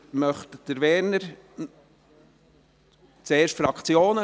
Möchte Werner Moser zuerst sprechen?